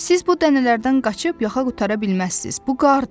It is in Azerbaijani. Siz bu dənələrdən qaçıb yaxa qurtara bilməzsiniz, bu qardır.